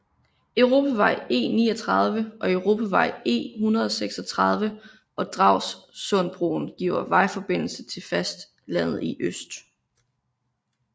Europavej E39 og Europavej E136 og Dragsundbroen giver vejforbindelse til fastlandet i øst